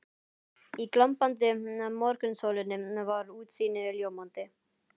Í glampandi morgunsólinni var útsýnið ljómandi.